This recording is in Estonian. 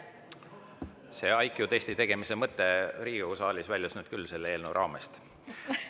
See IQ-testi tegemise mõte Riigikogu saalis väljus nüüd küll selle eelnõu raamest.